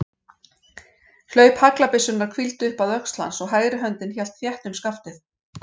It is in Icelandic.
Hlaup haglabyssunnar hvíldi upp að öxl hans og hægri höndin hélt þétt um skaftið.